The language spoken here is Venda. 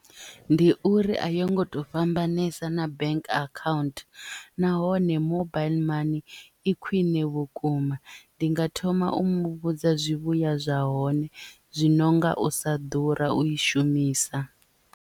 Ndi uri a yo ngo to fhambanesa na bank account nahone mobile mani i khwiṋe vhukuma ndi nga thoma u mu vhudza zwivhuya zwa hone zwi no nga u sa ḓura u i shumisa.